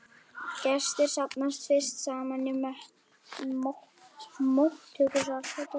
Gestir safnast fyrst saman í móttökusal.